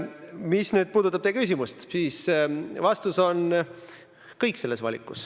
Mis puudutab teie küsimust, siis vastus on: kõik selles valikus.